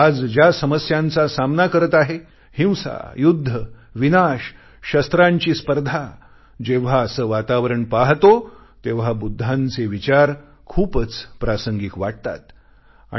जग आज ज्या समस्यांचा सामना करत आहे हिंसा युद्ध विनाश शस्त्रांची स्पर्धा जेव्हा असे वातावरण पाहतो तेव्हा बुद्धांचे विचार खूपच प्रासंगिक वाटतात